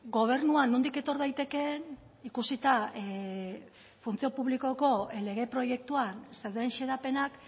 gobernua nondik etor daitekeen ikusita funtzio publikoko lege proiektuan zeuden xedapenak